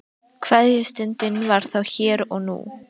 Kveðjustundin var þá hér og nú.